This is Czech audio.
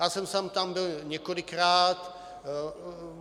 Já sám jsem tam byl několikrát.